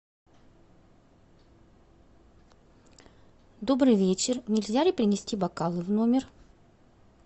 добрый вечер нельзя ли принести бокалы в номер